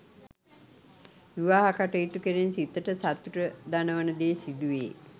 විවාහ කටයුතු කෙරෙන් සිතට සතුට දනවන දේ සිදු වේ.